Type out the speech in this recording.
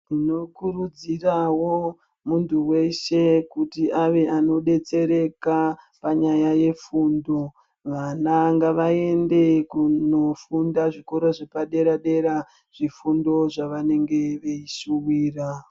Tinokuridzirawo muntu weshe kuti ave anodetsereka panyaya yefundo .Vana ngavaende kunofunda zvikora zvepadera -dera zvifundo zvavanenge veishuwira .